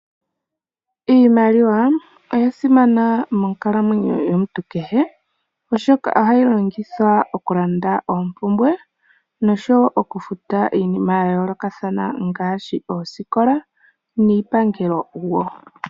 Iimaliwa oya simana monkalamwenyo yomuntu kehe oshoka ohayi longithwa okulanda oompumbwe noshowoo okufuta iinima yayoolokathana ngaashi oosikola niipangelo wo.